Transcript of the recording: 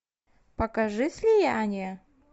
покажи слияние